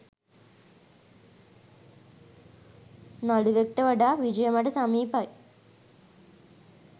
නළුවෙක්ට වඩා විජය මට සමීපයි.